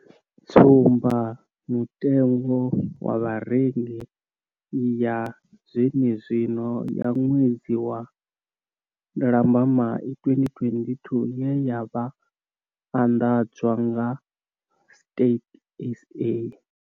Tsumba mutengo wa Vharengi ya zwenezwino ya ṅwedzi wa Lambamai 2022 ye ya anḓadzwa nga Stats SA.